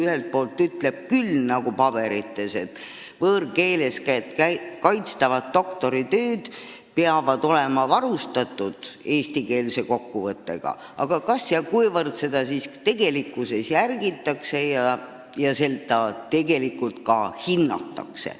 Ühelt poolt ütlevad paberid küll seda, et võõrkeeles kaitstavad doktoritööd peavad olema varustatud eestikeelse kokkuvõttega, aga küsimus on, kas ja kuivõrd seda nõuet tegelikkuses järgitakse ja ka hinnatakse.